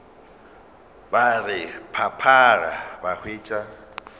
ba re phaphara ba hwetša